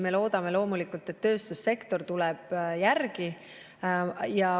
Me loodame loomulikult, et tööstussektor tuleb järgi.